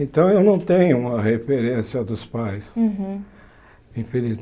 Então eu não tenho uma referência dos pais. Uhum